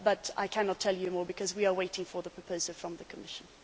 I cannot tell you more because we are waiting for the proposal from the Commission.